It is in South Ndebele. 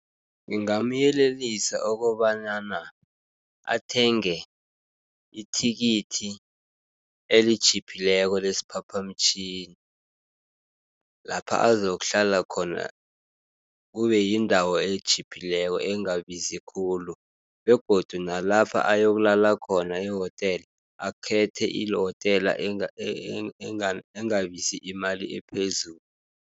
Ngingamyelelisa okobanyana, athenge ithikithi elitjhiphileko lesiphaphamtjhini. Lapha azokuhlala khona kubeyindawo etjhiphileko engabizi khulu, begodu nalapha ayokulala khona ehotela, akhethe ihotela engalibizi imali ephezulu.